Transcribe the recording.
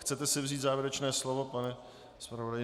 Chcete si vzít závěrečné slovo, pane zpravodaji?